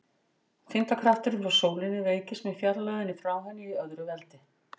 Þyngdarkrafturinn frá sólinni veikist með fjarlægðinni frá henni í öðru veldi.